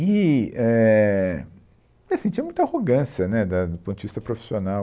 E, éh, porque assim, tinha muita arrogância né, da, do ponto de vista profissional.